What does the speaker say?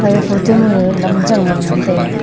aga photo ma lam yang aley ngan taega.